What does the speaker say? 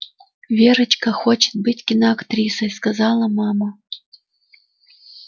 верочка хочет быть киноактрисой сказала мама